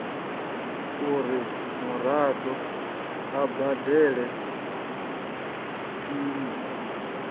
uri muraḓo a badele iṅwe